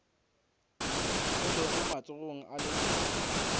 o lego matsogong a leloko